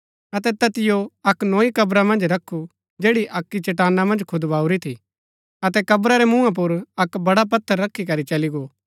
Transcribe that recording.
अतै तैतिओ अक्क नोई कब्रा मन्ज रखु जैड़ी अक्की चट्टाना मन्ज खुदबाऊरी थी अतै कब्रा रै मूँहा पुर अक्क बड़ा पत्थर रखी करी चली गो